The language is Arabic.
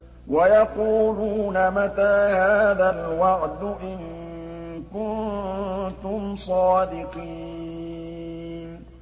وَيَقُولُونَ مَتَىٰ هَٰذَا الْوَعْدُ إِن كُنتُمْ صَادِقِينَ